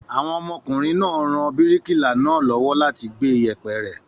Àwọn ọmọkùnrin ra bíríkìlà náà lọ́wọ́ láti gbé ìyẹ̀pẹ̀ rẹ̀.